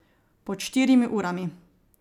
Pod štirimi urami.